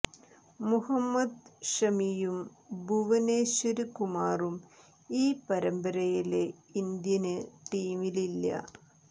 മുഹമ്മദ് ഷമിയും ഭുവനേശ്വര് കുമാറും ഈ പരമ്പരയില് ഇന്ത്യന് ടീമില് ഇല്ല